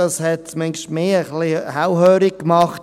Das hat zumindest mich ein wenig hellhörig gemacht.